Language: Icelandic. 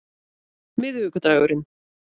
miðvikudagurinn